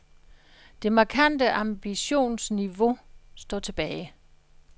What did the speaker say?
Det markante ambitionsniveauet står tilbage.